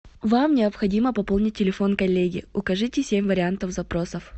вам необходимо пополнить телефон коллеги укажите семь вариантов запросов